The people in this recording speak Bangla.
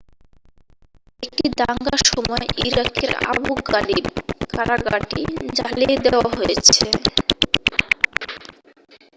একটি দাঙ্গার সময় ইরাকের আবু গারিব কারাগারটি জ্বালিয়ে দেয়া হয়েছে